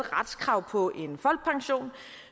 retskrav på en folkepension